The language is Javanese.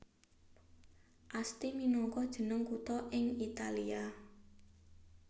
Asti minangka jeneng kutha ing Italia